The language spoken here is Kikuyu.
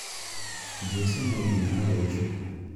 Jesũ no nginya agocũo